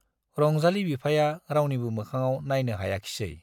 रंजाली बिफाया रावनिबो मोखाङाव नाइनो हायाखिसै।